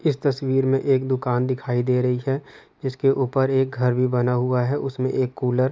इस तस्वीर में एक दुकान दिखाई दे रही है जिसके ऊपर एक घर भी बना हुआ है उसमे एक कूलर --